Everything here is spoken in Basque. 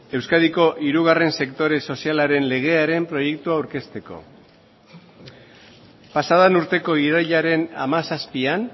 euskadiko hirugarren sektore sozialaren legearen proiektua aurkezteko pasa den urteko irailaren hamazazpian